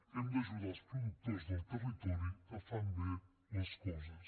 hem d’ajudar els productors del territori que fan bé les coses